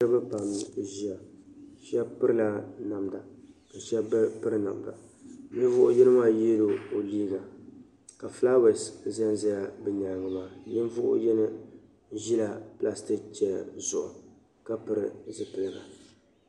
niriba pam n-ʒiya shɛba pirila namda ka shɛba bɛ piri namda ninvuɣ' yino maa yee la o liiga ka fulaawaasi za n-za bɛ nyaaŋa ninvuɣ' yino ʒi la pilaasi chana zuɣu ka pili zupiligu